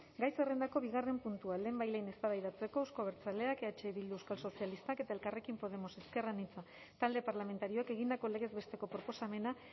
gai zerrendako bigarren puntua lehenbailehen eztabaidatzeko euzko abertzaleak eh bildu euskal sozialistak eta elkarrekin podemos ezker anitza talde parlamentarioek egindako legez besteko proposamena